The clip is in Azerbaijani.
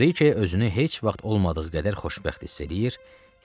Brike özünü heç vaxt olmadığı qədər xoşbəxt hiss eləyir.